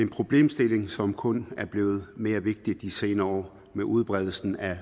problemstilling som kun er blevet mere vigtig de senere år med udbredelse af